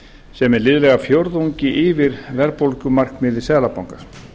sem er liðlega fjórðungi yfir verðbólgumarkmiði seðlabankans